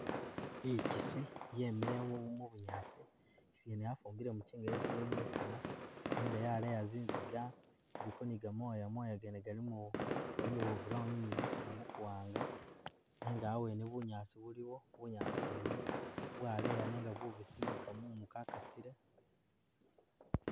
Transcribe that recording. I'chisi yemelewo mu bunyaasi, i'chisi yene yafumbile muchinga yesile mwisina, nenga yaleya zinziga, iliko ni gamooya, mooya gene galimo, galimo bwa brown ni mwisina mukuwaanga nenga awene bunyaasi buliwo, bunyaasi bwene bwaleya nenga bubisi ni kamumu ka kasile